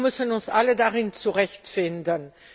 Wir müssen uns alle darin zurechtfinden.